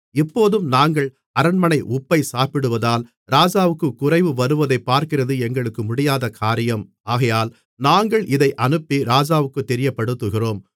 இப்போதும் நாங்கள் அரண்மனை உப்பை சாப்பிடுவதால் ராஜாவுக்குக் குறைவு வருவதைப் பார்க்கிறது எங்களுக்கு முடியாத காரியம் ஆகையால் நாங்கள் இதை அனுப்பி ராஜாவுக்குத் தெரியப்படுத்துகிறோம்